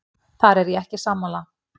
Þar er ég ekki sammála.